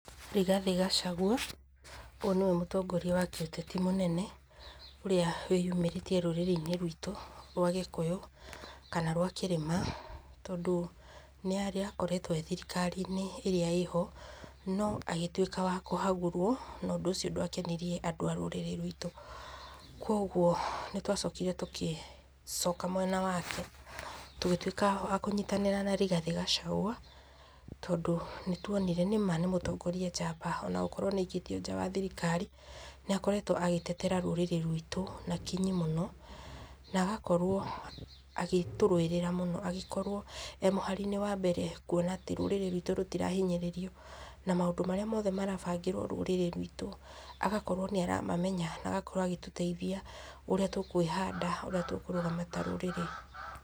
Rigathĩ Gacagua, ũyũ nĩwe mũtongoria wa kĩũteti mũnene ũrĩa wĩyũmĩrĩtĩe rũrĩrĩinĩ rwitũ rwa gĩkũyũ kana rwa kĩrĩma, tondũ nĩarĩ akoretwo thirikariinĩ ĩrĩa ĩrĩ ho, no agĩtuĩka wa kũhagũrwo, na ũndũ ũcio dwakenirie andũ a rũrĩriĩnĩ rwitũ. Kogwo nĩ twacokĩre tũgĩcoka mwena wake. Tũgĩtuĩka wa kũnyitanĩra na Rigathĩ Gacagua, tondũ ma nĩ tuonire nĩma nĩ mũtongoria njamba ona gũtuwĩka nĩ aikĩtio nja wa thirikari, nĩ akoretwo agĩtetera rũrĩrĩ rwitũ na kinyi mũno. Na agakorwo agĩtũrũĩrĩra mũno, agĩkorwo e mũharĩinĩ wa mbere, kuona atĩ rũrĩrĩ rwĩtũ rũtirahinyĩrĩrio, na maũndũ mothe marĩa marabangĩrwo rũrĩrĩ rwĩt , agakorwo nĩ aramamenya na agakorwo agĩtũteithia ũrĩa tũkwĩhanda, ũrĩa tũkũrũgama ta rũrĩrĩ.